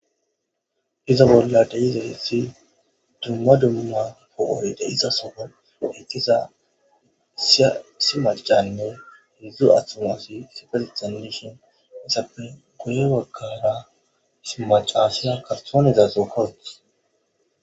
iza bolla dei'zaysati dumma dumma pohohyde isasoo heqqiza ssimacanne hudzdzu attomasi sifel tandishon esappe goye waggara simacasiya karthonizaso kowoth